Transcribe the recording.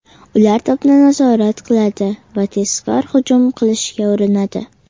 Ular to‘pni nazorat qiladi va tezkor hujum qilishga urinadi.